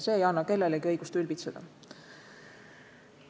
See ei anna kellelegi õigust ülbitseda.